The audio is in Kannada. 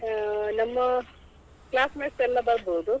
ನಮ್ಮ classmates ಎಲ್ಲ ಬರ್ಬೋದು.